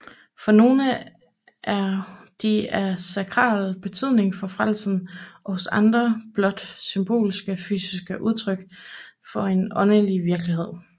For nogle er de af sakral betydning for frelsen og hos andre blot symbolske fysiske udtryk for en åndelig virkelighed